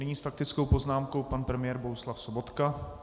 Nyní s faktickou poznámkou pan premiér Bohuslav Sobotka.